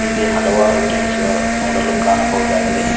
ಇಲ್ಲಿ ಹಲವಾರು ತಿನಿಸುಗಳು ನೋಡಲು ಕಾಣಬಹುದಾಗಿದೆ.